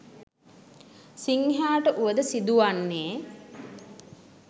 සිංහයාට වුවද සිදු වන්නේ